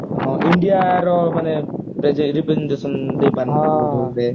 ହଁ india ର ମାନେ representation ଦେଇପରି ନଥିଲେ